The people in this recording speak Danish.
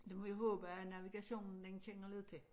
Det må vi håbe at navigationen den kender lidt til